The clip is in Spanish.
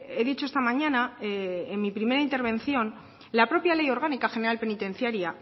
he dicho esta mañana en mi primera intervención la propia ley orgánica general penitenciaria